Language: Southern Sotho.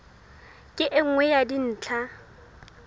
ke e nngwe ya dintlha